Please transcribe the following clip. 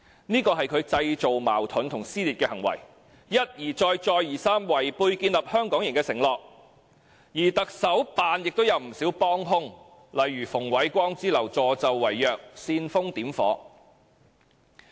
這是他製造矛盾及撕裂的行為，一而再、再而三違背建立"香港營"的承諾，而行政長官辦公室亦有不少幫兇，例如馮煒光之流，助紂為虐，煽風點火。